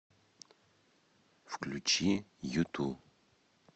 включи юту